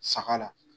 Saga la